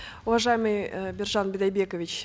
уважаемый э биржан бидайбекович